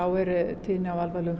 er tíðni á alvarlegum